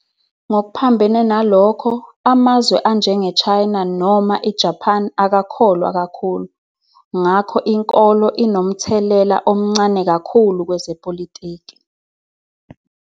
Ngokuphambene nalokho, amazwe anjengeChina noma iJapane akakholwa kakhulu ngakho inkolo inomthelela omncane kakhulu kwezepolitiki.